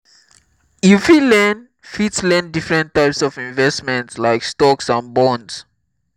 you fit learn fit learn differnt types of investments like stocks and bonds.